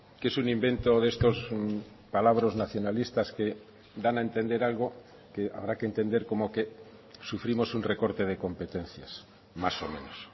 que es un invento de estos palabros nacionalistas que dan a entender algo que habrá que entender como que sufrimos un recorte de competencias más o menos